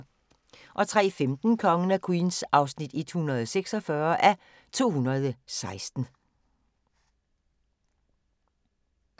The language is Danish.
03:15: Kongen af Queens (146:216)